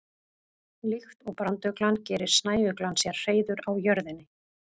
Líkt og branduglan gerir snæuglan sér hreiður á jörðinni.